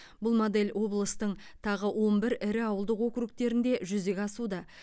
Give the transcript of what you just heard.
бұл модель облыстың тағы он бір ірі ауылдық округтерінде жүзеге асуда